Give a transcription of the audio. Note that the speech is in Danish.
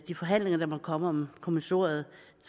de forhandlinger der måtte komme om kommissoriet